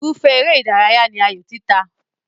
Irúfẹ́ eré ìdárayá ní ayò títa.